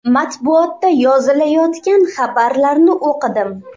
Matbuotda yozilayotgan xabarlarni o‘qidim.